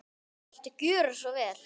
Viltu gera svo vel.